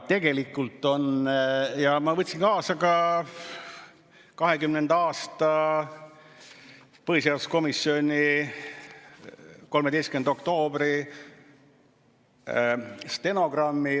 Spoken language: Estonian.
Aga ma võtsin kaasa ka 2020. aasta põhiseaduskomisjoni 13. oktoobri stenogrammi.